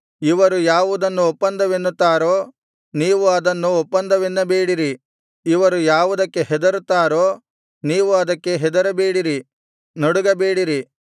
ಇವರು ಯಾವುದನ್ನು ಒಪ್ಪಂದವೆನ್ನುತ್ತಾರೋ ನೀವು ಅದನ್ನು ಒಪ್ಪಂದವೆನ್ನಬೇಡಿರಿ ಇವರು ಯಾವುದಕ್ಕೆ ಹೆದರುತ್ತಾರೋ ನೀವು ಅದಕ್ಕೆ ಹೆದರಬೇಡಿರಿ ನಡುಗಬೇಡಿರಿ